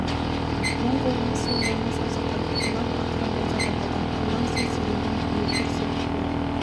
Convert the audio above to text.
оң қолымен сол қолының саусақтарын уқалап ақырын босатып алды арлан сол серейген күйі гүрс етіп құлап